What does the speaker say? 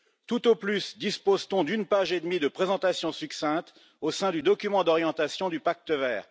Tout au plus dispose t on d'une page et demie de présentation succincte, au sein du document d'orientation du pacte vert.